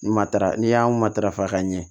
Matara n'i y'an matarafa ka ɲɛ